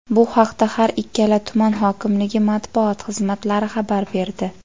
Bu haqda har ikkala tuman hokimligi Matbuot xizmatlari xabar berdi.